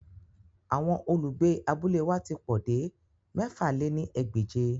Awọn olugbe abule wa ti po de mẹ̀fà lé ní ẹgbẹ́je.